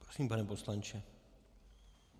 Prosím, pane poslanče.